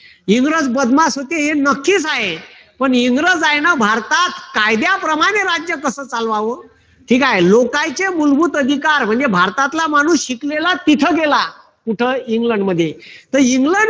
इंग्रज बदमाश होते हे नक्कीच आहे. पण इंग्रजांनी भारतात कायद्याप्रमाणे राज्य कस चालवावं. हे काय लोकांचे मूलभूत अधिकार म्हणजे भारतातला शिकलेला माणूस तिथं गेला. कुठं? इंग्लंडमध्ये तर इंग्लंड